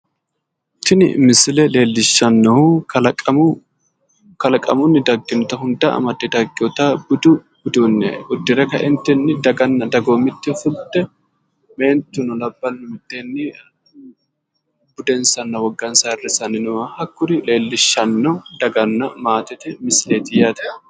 Tini misile leellishannohu kalaqamunni dagginota hundda amadde dagginota budu udune uddire kaeentini daganna dagoomitte fultte, meentunna laballu miteenni budensanna wogansa ayirissanni nooha hakuri leellishanno daganna maatete misileeti yaate.